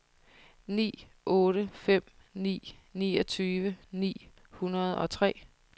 ni otte fem ni niogtyve ni hundrede og tre